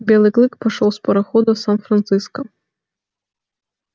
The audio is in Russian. белый клык пошёл с парохода в сан франциско